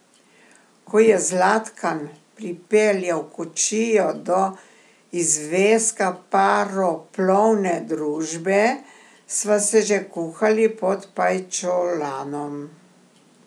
Ko je Zlatkan pripeljal kočijo do izveska paroplovne družbe, sva se že kuhali pod pajčolanom.